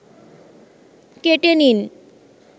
কেটে নিন